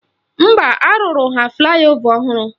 Mba, arụrụ ha flaị ova ọhụrụ